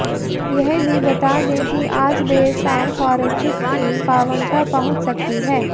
यह भी बता दें कि आज देर शाम फारेन्सिक टीम पांवटा पहुंच सकती है